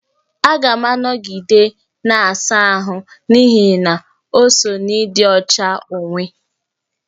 Aga m anọgide na-asa ahụ n'ihi na o so n'ịdị ọcha onwe onye